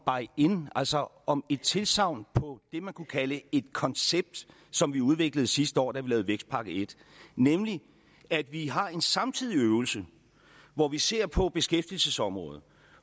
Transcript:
in altså om et tilsagn på det man kunne kalde et koncept som vi udviklede sidste år da vi vækstpakke i nemlig at vi har en samtidig øvelse hvor vi ser på beskæftigelsesområdet